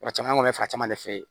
Maa caman kɔni bɛ fɛ caman de fɛ yen